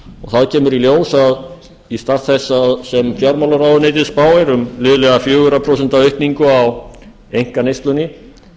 þá kemur í ljós að í stað þess sem fjármálaráðuneytið spáir um liðlega fjögur prósent aukningu á einkaneyslunni